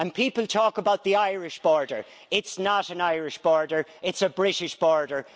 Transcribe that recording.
People talk about the Irish border it's not an Irish border, it's a British border.